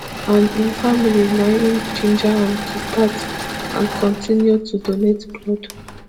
and im family na im ginger am to start and kontinu to donate blood